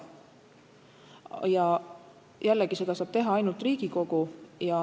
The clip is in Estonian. Ja jällegi, seda saab teha ainult Riigikogu.